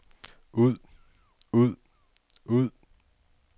ud ud ud